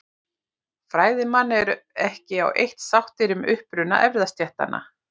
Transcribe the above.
Fræðimenn eru ekki á eitt sáttir um uppruna erfðastéttanna.